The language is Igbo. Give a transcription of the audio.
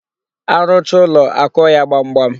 A rụchaa ụlọ, akụọ ya gbamgbam.